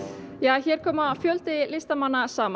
hér koma fjöldi listamanna saman